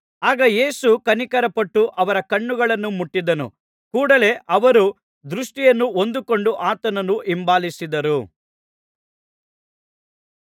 ಆಗ ಯೇಸು ಕನಿಕರಪಟ್ಟು ಅವರ ಕಣ್ಣುಗಳನ್ನು ಮುಟ್ಟಿದನು ಕೂಡಲೇ ಅವರು ದೃಷ್ಟಿಯನ್ನು ಹೊಂದಿಕೊಂಡು ಆತನನ್ನು ಹಿಂಬಾಲಿಸಿದರು